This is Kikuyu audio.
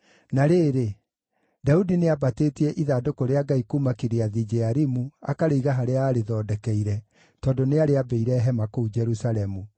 Na rĩrĩ, Daudi nĩambatĩtie ithandũkũ rĩa Ngai kuuma Kiriathu-Jearimu akarĩiga harĩa aarĩthondekeire, tondũ nĩarĩambĩire hema kũu Jerusalemu.